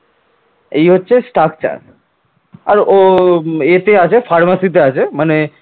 এই হচ্ছে structure আর ও এতে আছে pharmacy তে আছে মানে